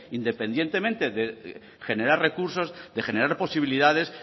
independientemente de generar recursos de generar posibilidades